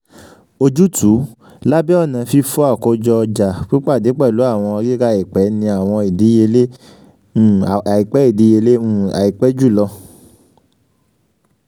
ojutu: labẹ ọna fifo akojo ọja pipade pẹlu awọn rira aipẹ ni awọn idiyele um aipẹ idiyele um aipẹ julọ